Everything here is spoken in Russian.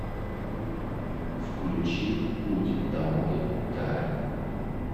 включи путь домой ка рэ